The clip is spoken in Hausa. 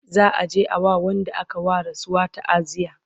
za'a je a wa Wanda aka wa rasuwa taaziya